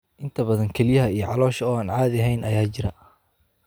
Inta badan, kelyaha iyo caloosha oo aan caadi ahayn ayaa jira.